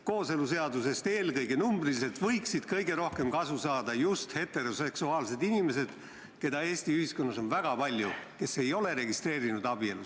Kooseluseadusest võiksid eelkõige numbriliselt kõige rohkem kasu saada just heteroseksuaalsed inimesed, keda Eesti ühiskonnas on väga palju ja kes ei ole abielu registreerinud.